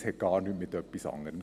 Es hat mit nichts anderem zu tun.